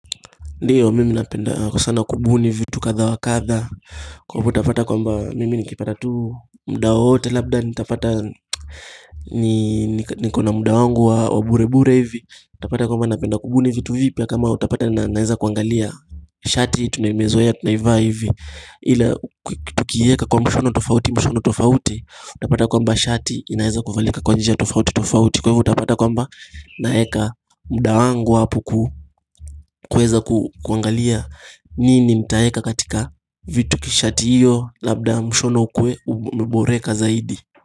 Ndiyo mimi napenda kwa sana kubuni vitu kathaa wa kathaa Kwa hivyo utapata kwamba mimi nikipata tu muda wowote labda nitapata Nikona muda wangu wa wa bure bure hivi utapata kwamba napenda kubuni vitu vipya kama utapata na naweza kuangalia Shati tunayoizoea tunaivaa hivi ila kutukiiweka kwa mshono tofauti mshono tofauti utapata kwamba shati inaweza kuvalika kwa njia tofauti tofauti Kwa hivyo utapata kwamba naweka muda wangu hapo kuweza kuangalia nini nitaweka katika vitu kishati hiyo labda mshono ukuwe umeboreka zaidi.